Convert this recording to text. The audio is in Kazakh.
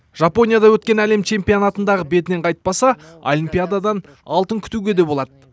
жапонияда өткен әлем чемпионатындағы бетінен қайтпаса олимпиададан алтын күтуге де болады